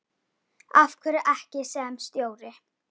Af hverju ekki sem stjóri?